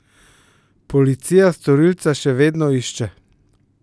Policija storilca še vedno išče.